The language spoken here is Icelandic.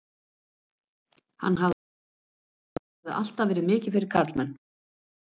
Hann hafði á réttu að standa, hún hafði alltaf verið mikið fyrir karlmenn.